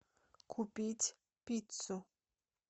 купить пиццу